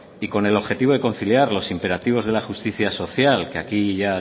y con el objetivo de conciliar los imperativos de la justicia social que aquí ya